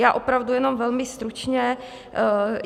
Já opravdu jenom velmi stručně.